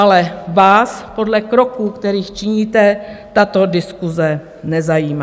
Ale vás podle kroků, které činíte, tato diskuse nezajímá.